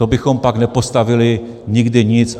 To bychom pak nepostavili nikdy nic.